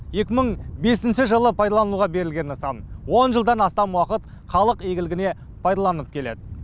екі мың бесінші жылы пайдалануға берілген нысан он жылдан астам уақыт халық игілігіне пайдаланылып келеді